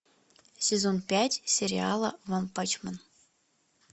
сезон пять сериала ванпанчмен